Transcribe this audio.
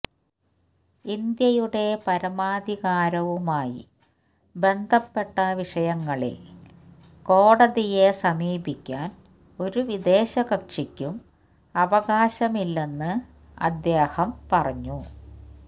ഇന്ത്യയുടെ പരമാധികാരവുമായി ബന്ധപ്പെട്ട വിഷയങ്ങളില് കോടതിയെ സമീപിക്കാന് ഒരു വിദേശ കക്ഷിക്കും അവകാശമില്ലെന്ന് അദ്ദേഹം പറഞ്ഞു